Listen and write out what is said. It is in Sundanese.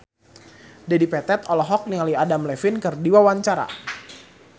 Dedi Petet olohok ningali Adam Levine keur diwawancara